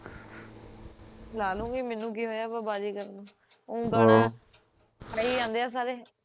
ਲਾਲੂਗੀ ਮੈਨੂੰ ਕੀ ਹੋਇਆ ਵਾਂ ਬਾਜ਼ੀਗਰ ਨੂੰ ਊ ਗਾਣਾ ਆਹ ਖੜੇ ਜੰਦੇ ਐ ਸਾਰੇ